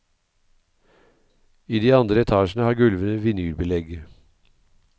I de andre etasjene har gulvene vinylbelegg.